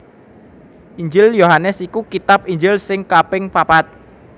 Injil Yohanes iku kitab Injil sing kaping papat